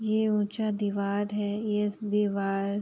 ये ऊंचा दीवार है। येस दीवार --